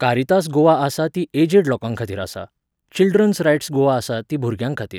Caritas Goa आसा ती aged लोकांखातीर आसा. चिल्ड्रन्स रायट्स गोवा आसा ती भुरग्यांखातीर.